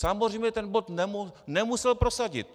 Samozřejmě ten bod nemusel prosadit.